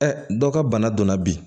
dɔ ka bana donna bi